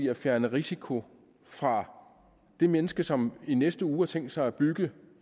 at fjerne risiko fra det menneske som i næste uge har tænkt sig at bygge